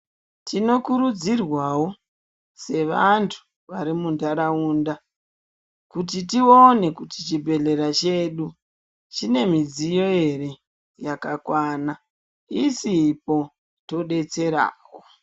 Tinokurudzirwawo sevantu vemundaraunda kuti tione kuti chibhedhlera chedu chine midziyo here yakakwana isipo todetserswo.